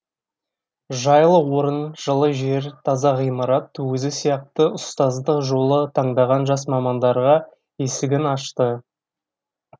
жайлы орын жылы жер таза ғимарат өзі сияқты ұстаздық жолды таңдаған жас мамандарға есігін ашты